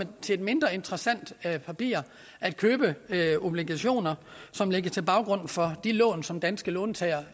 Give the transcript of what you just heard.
til mindre interessant papir at købe obligationer som ligger til grund for de lån som danske låntagere